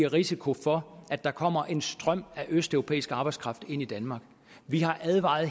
risiko for at der kommer en strøm af østeuropæisk arbejdskraft ind i danmark vi har advaret